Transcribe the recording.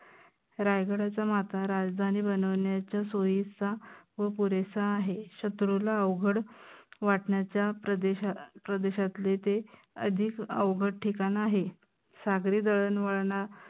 रायगडची माता आता राजधानी बनवन्याच सोयीचा व पुरेसा आहे. शत्रूला अवघड वाटन्याचा प्रदेशा प्रदेशातले ते आधीच अवघड ठिकाण आहे.